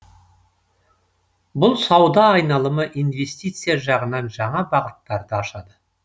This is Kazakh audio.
бұл сауда айналымы инвестиция жағынан жаңа бағыттарды ашады